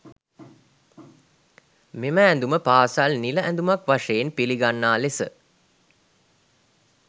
මෙම ඇඳුම පාසල් නිල ඇඳුමක් වශයෙන් පිළිගන්නා ලෙස